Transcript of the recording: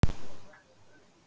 Kóngur er nefndur.